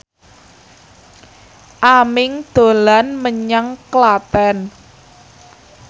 Aming dolan menyang Klaten